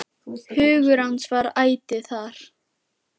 Hugur hans var ætíð þar.